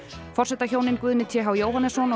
forsetahjónin Guðni t h Jóhannesson og